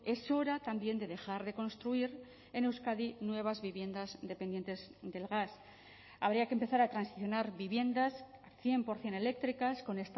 es hora también de dejar de construir en euskadi nuevas viviendas dependientes del gas habría que empezar a transicionar viviendas cien por ciento eléctricas con